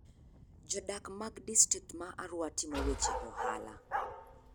Jodak mag distrikt ma Arua timo weche ohala.